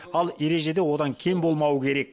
ал ережеде одан кем болмауы керек